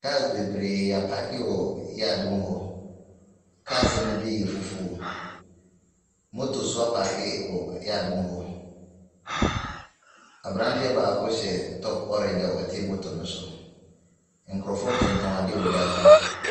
Cars bebree apaake wɔ yard mu hɔ. Cars no bi yɛ fufuo. Motor nso apaake wɔ yard mu hɔ. Aberanteɛ baako hyɛ tom oranga ɔte bɔtɔ no so. Nkorcfoɔ tontɔn adeɛ wɔ dua so.